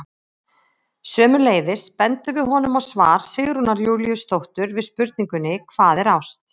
Sömuleiðis bendum við honum á svar Sigrúnar Júlíusdóttur við spurningunni Hvað er ást?